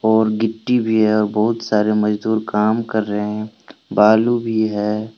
और गिट्टी भी है बहुत सारे मजदूर काम कर रहे हैं बालू भी है।